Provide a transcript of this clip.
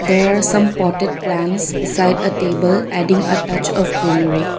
there are some potted plants beside a table adding a touch of greenery.